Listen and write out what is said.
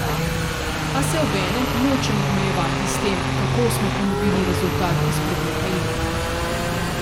A se obenem nočemo omejevati s tem, kako smo ponovili rezultat izpred nekaj let.